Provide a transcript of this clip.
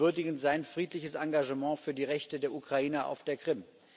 Wir würdigen sein friedliches Engagement für die Rechte der Ukrainer auf der Krim.